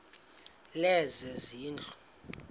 lezezindlu